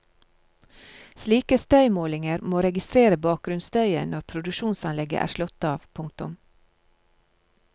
Slike støymålinger må registrere bakgrunnsstøyen når produksjonsanlegget er slått av. punktum